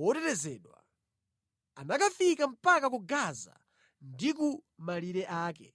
wotetezedwa. Anakafika mpaka ku Gaza ndi ku malire ake.